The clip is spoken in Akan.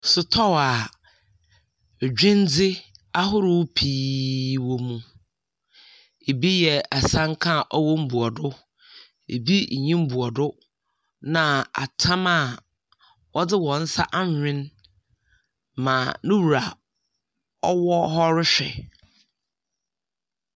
Sotɔɔ a edwindze ahorow pii wɔ mu, bi ye asanka a ɔwɔ mbuado, bi nnyi mbuado. Na atam a wɔdze hɔn nsa awen ma no wura wɔ hɔ rohwɛ.